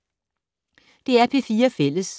DR P4 Fælles